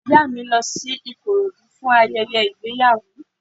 Ìyá mi lọ sí Ìkòròdú fún ayẹyẹ ìgbéyàwó